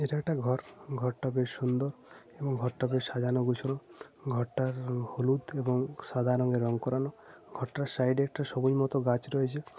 এটা একটা ঘর । ঘর টা বেশ সুন্দর এবং ঘর টা বেশ সাজানো গোছানো । ঘর টা হলুদ এবং সাদা রঙে রং করানো । ঘর টার সাইড এ একটা সবুজ মতন গাছ রয়েছে ।